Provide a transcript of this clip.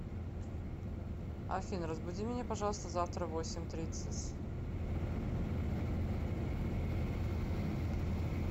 афина разбуди меня пожалуйста завтра в восемь тридцать